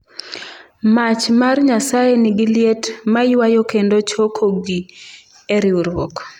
‘Mach mar Nyasaye nigi liet ma ywayo kendo chokogi e Riwruok.